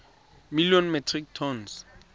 million metric tons